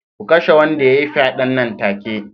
Ku kashe wanda ya yi fyaden nan take